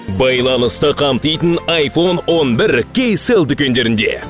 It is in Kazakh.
байланысты қамтитын айфон он бір кейсел дүкендерінде